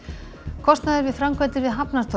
kostnaður við framkvæmdir við